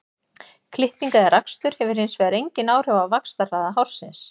Klipping eða rakstur hefur hins vegar engin áhrif á vaxtarhraða hársins.